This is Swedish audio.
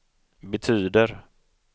betyder